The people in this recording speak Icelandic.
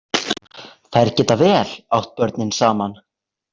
Þær geta vel átt börnin saman.